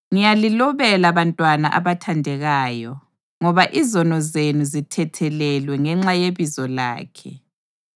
Ngiyalilobela bantwana abathandekayo, ngoba izono zenu zithethelelwe ngenxa yebizo lakhe.